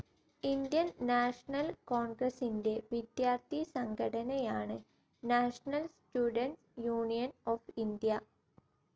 Indian National കോൺഗ്രസിന്റെ വിദ്യാർത്ഥി സംഘടനയാണ് National Students' Union of India.